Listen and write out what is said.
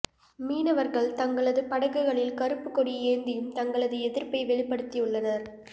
மீனவர்கள் தங்களது படகுகளில் கருப்புக் கொடி ஏந்தியும் தங்களது எதிர்ப்பை வெளிப்படுத்தியுள்ளனர்